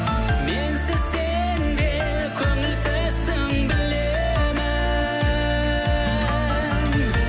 менсіз сен де көңілсізсің білемін